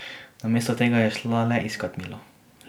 Namesto tega je šla le iskat milo.